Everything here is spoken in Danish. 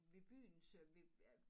Ved byens øh ved øh